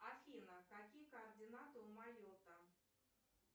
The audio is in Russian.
афина какие координаты у майота